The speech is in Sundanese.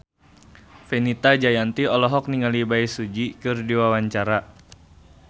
Fenita Jayanti olohok ningali Bae Su Ji keur diwawancara